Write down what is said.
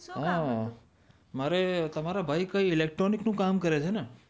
શું કામ હતું? મારે તમારા ભાઈ કાય ઇલેક્ટ્રોનિક નું કામ કરે છે ને?